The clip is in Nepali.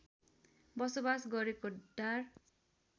बसोबास गरेको डार